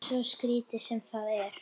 Svo skrítið sem það er.